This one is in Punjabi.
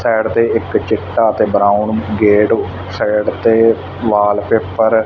ਸਾਈਡ ਤੇ ਇੱਕ ਚਿੱਟਾ ਤੇ ਬਰਾਉਨ ਗੇਟ ਸਾਈਡ ਤੇ ਵਾਲ ਪੇਪਰ ।